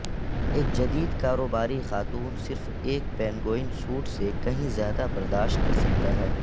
ایک جدید کاروباری خاتون صرف ایک پینگوئن سوٹ سے کہیں زیادہ برداشت کر سکتا ہے